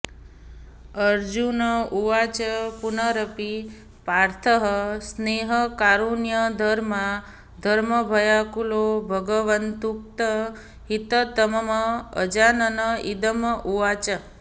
अर्जुन उवाच पुनरपि पार्थः स्नेहकारुण्यधर्माधर्मभयाकुलो भगवदुक्तं हिततमम् अजानन् इदम् उवाच